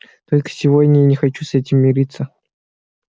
только сегодня я не хочу с этим мириться